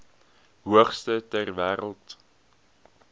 hoogste ter wêreld